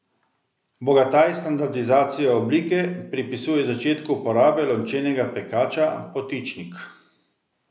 Bogataj standardizacijo oblike pripisuje začetku uporabe lončenega pekača potičnik.